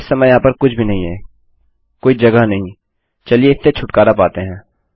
इस समय वहाँ पर कुछ भी नहीं है कोई जगह नहीं चलिए इससे छुटकारा पाते हैं